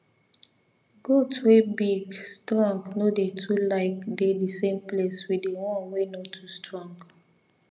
goat wey big strong no dey too like dey the same place with the one wey no too strong